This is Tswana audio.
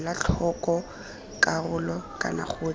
ela tlhoko karolo kana gotlhe